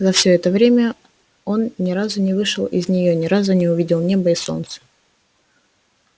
за все это время он ни разу не вышел из нее ни разу не увидел неба и солнца